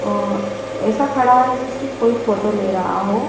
अह ऐसा खड़ा है जैसे उसकी कोई फोटो ले रहा हो।